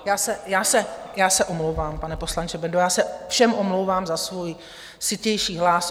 Já se omlouvám, pane poslanče Bendo, já se všem omlouvám za svůj sytější hlas.